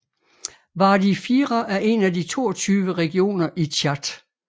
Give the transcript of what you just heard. Wadi Fira er en af de 22 regioner i Tchad